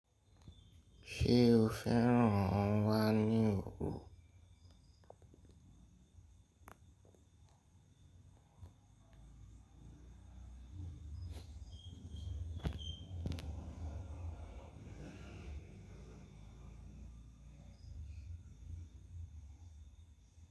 Ṣé o fẹ́ràn àwọn wáìnì èkó?